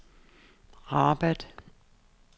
Rabat